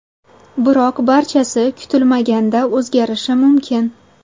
Biroq barchasi kutilmaganda o‘zgarishi mumkin.